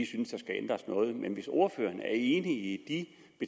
synes der skal ændres noget men hvis ordføreren er enig